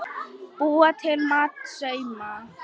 Búa til mat- sauma